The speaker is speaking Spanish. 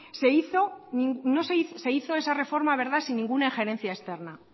se hizo esa reforma sin ninguna gerencia externa